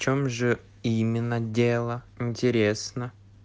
в чём же именно дела интересно